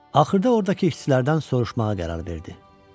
Axırda orda ki işçilərdən soruşmağa qərar verdi.